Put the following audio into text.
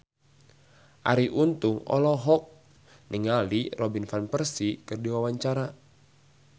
Arie Untung olohok ningali Robin Van Persie keur diwawancara